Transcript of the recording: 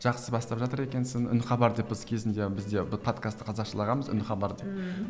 жақсы бастап жатыр екенсің үн хабар деп біз кезінде біз де подкасты қазақшалағанбыз үн хабар деп мхм